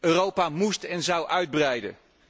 Europa moest en zou uitbreiden.